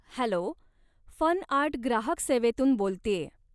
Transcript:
Hello, FunArt ग्राहक सेवेतून बोलतेय.